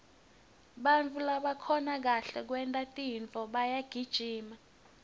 bantfu labakhona kwenta kahle tintfo bayagijima